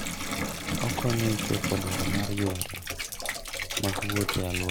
Okonyo e chopo dwaro mag yore mag wuoth e alworano.